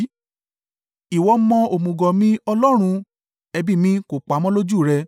Ìwọ mọ òmùgọ̀ mi, Ọlọ́run; ẹ̀bi mi kò pamọ́ lójú rẹ.